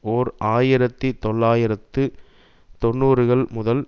ஓர் ஆயிரத்தி தொள்ளாயிரத்து தொன்னூறுகள் முதல்